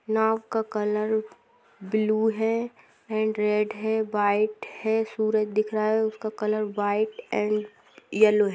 नाव का colour blue है and red है व्हाइट है सूरज दिख रहा है उसका कलर व्हाइट एन्ड यल्लो है।